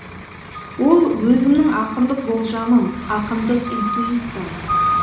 ол өзімнің ақындық болжамым ақындық интуициям